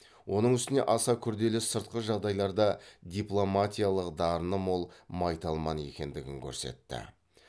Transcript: оның үстіне аса күрделі сыртқы жағдайларда дипломатиялық дарыны мол майталман екендігін көрсетті